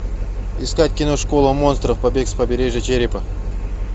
искать кино школа монстров побег с побережья черепа